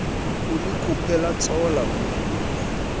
ulikhuphe latsola umkhuluwa